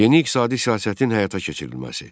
Yeni iqtisadi siyasətin həyata keçirilməsi.